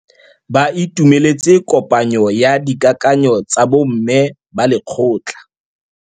Ba itumeletse kôpanyo ya dikakanyô tsa bo mme ba lekgotla.